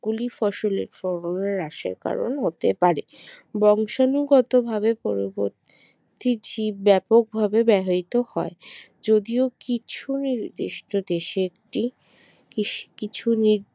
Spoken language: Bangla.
গুলি ফসলের হ্রাসের কারণ হতে পারে বংশানুগতভাবে পরবর্তী জীব ব্যাপকভাবে ব্যবহৃত হয়। যদিও কিছুই নির্দিষ্ট দেশে একটি কৃষি কিছু নি